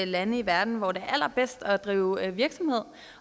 lande i verden hvor det er allerbedst at drive virksomhed